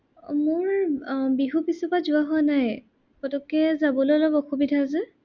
মোৰ আহ বিহুৰ পিছৰ পৰা যোৱা হোৱা নাই। পটকে যাবলে অলপ অসুবিধা যে।